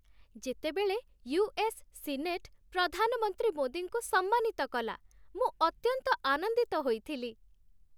ଯେତେବେଳେ US. Senate ପ୍ରଧାନମନ୍ତ୍ରୀ ମୋଦିଙ୍କୁ ସମ୍ମାନିତ କଲା, ମୁଁ ଅତ୍ୟନ୍ତ ଆନନ୍ଦିତ ହୋଇଥିଲି।